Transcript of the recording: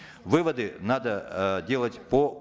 выводы надо э делать по